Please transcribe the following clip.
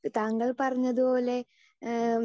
speaker 2 താങ്കൾ പറഞ്ഞതുപോലെ ഏഹ്